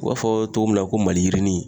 U b'a fɔ togo min na ko maliyirinin